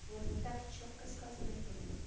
вот вот так чётко сказано и понятно